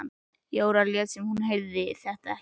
Jóra lét sem hún heyrði þetta ekki.